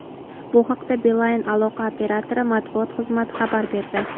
Bu haqda Beeline aloqa operatori matbuot xizmati xabar berdi.